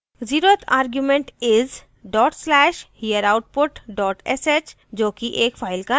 0 th argument is: dot salsh hereoutput dot sh जो कि एक फाइल का नाम है